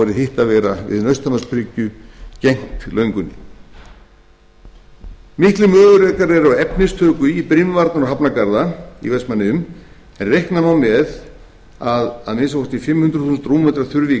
vera við nausthamarsbryggju gegnt löngunni miklir möguleikar eru á efnistöku í brimvarnar og hafnargarða en reikna má með að að minnsta kosti fimm hundruð þúsund rúmmetra þurfi í